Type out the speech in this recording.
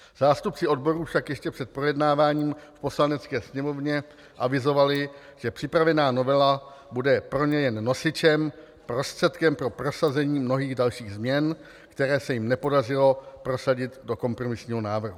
Zástupci odborů však ještě před projednáváním v Poslanecké sněmovně avizovali, že připravovaná novela bude pro ně jen nosičem, prostředkem pro prosazení mnohých dalších změn, které se jim nepodařilo prosadit do kompromisního návrhu.